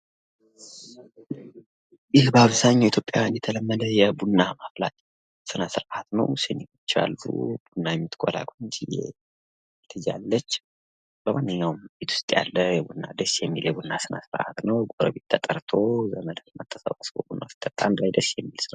ይህ በአብዘሃኛው ኢትዮጵያ የተለመደ የቡና ማፍላት ስርአት ነው ፤ ሲኒዎች አሉ፣ ቡና የምትቆላ ቆንጂዬ ልጅ አለች፣ ጎረቤት ተጠርቶ አንድላይ የሚሰራ ስነስርዓት ነው።